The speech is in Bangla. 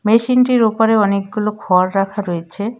মেশিনটির ওপারে অনেকগুলো খড় রাখা রয়েছে।